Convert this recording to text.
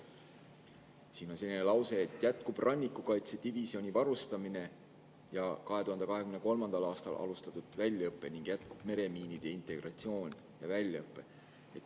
Siin on selline lause, et jätkub rannikukaitsedivisjoni varustamine ja 2023. aastal alustatud väljaõpe ning jätkub meremiinide integratsioon ja väljaõpe.